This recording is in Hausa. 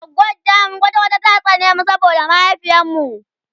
goggon tamu kwata kwata ta tsane mu saboda mahaifiyar mu